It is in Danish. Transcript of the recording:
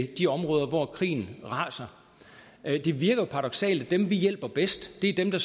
de områder hvor krige raser det virker jo paradoksalt at dem vi hjælper bedst er dem der